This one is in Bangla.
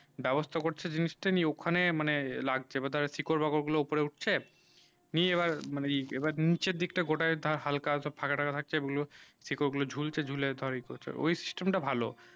বেবস্তা করছে জিনিস তা নিয়ে ওখানে মানে লাগছে মানে শিখর বা গুলু উপর উঠছে নিয়ে এইবার এইবার নিচে দিক তা গোটায় ধর হালকা হালকা সব ফাঁকা টাকা রাখছে ঐই গুলু শিকড় গুলু ঝুলছে ঝুলছে ধর এইপচর ঐই system তা ভালো